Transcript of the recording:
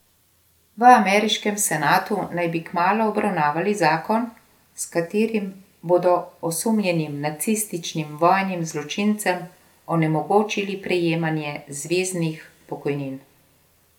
V ameriškem senatu naj bi kmalu obravnavali zakon, s katerim bodo osumljenim nacističnim vojnim zločincem onemogočili prejemanje zveznih pokojnin.